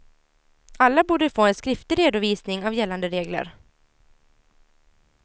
Alla borde få en skriftlig redovisning av gällande regler.